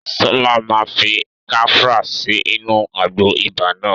Sọlá máa fi kafra sí inú àgbo ibà náà